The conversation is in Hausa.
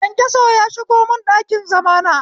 Kyankyaso ya shigo mun ɗakin zamana